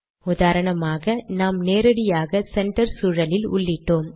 உதாரணமாக நாம் நேரடியாக சென்டர் சூழலில் உள்ளிட்டோம்